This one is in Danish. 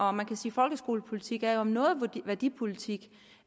og man kan sige folkeskolepolitik er om noget værdipolitik